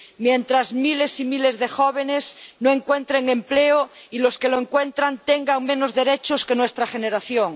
mientras miles y miles de jóvenes no encuentren empleo y los que lo encuentran tengan menos derechos que nuestra generación